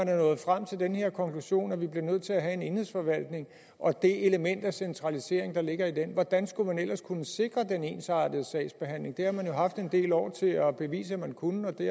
er nået frem til den her konklusion at vi bliver nødt til at have en enhedsforvaltning og det element af centralisering der ligger i den hvordan skulle man ellers kunne sikre den ensartede sagsbehandling det har man jo haft en del år til at bevise at man kunne og det